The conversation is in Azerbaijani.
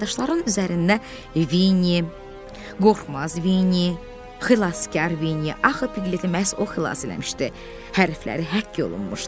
Karandaşların üzərində Vinni, Qorxmaz Vinni, Xilaskar Vinni, axı Piglet-i məhz o xilas eləmişdi, hərfləri həkk olunmuşdu.